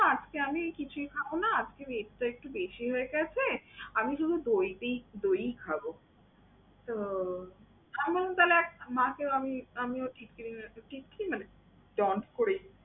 না আজকে আমি কিছুই খাবো না, আজকে meat টা একটু বেশি হয়ে গেছে, আমি যেন দই দেই~, দইই খাবো। তো এমনকালে মাকে আমি আমিও টিটকারি মেরেছি, ঢং করে।